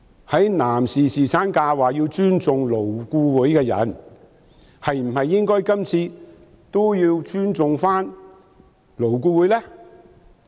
在男士侍產假上表示要尊重勞顧會的人，今次是否也應該尊重勞顧會呢？